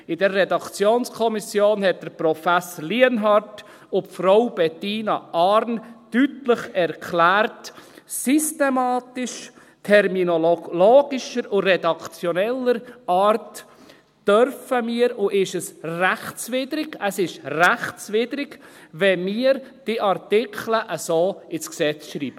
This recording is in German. In dieser Redaktionskommission haben Prof. Lienhard und Frau Bettina Arn deutlich erklärt, systematisch, terminologischer und redaktioneller Art dürften wir, und ist es rechtswidrig – es ist rechtswidrig – wenn wir diese Artikel so ins Gesetz schreiben.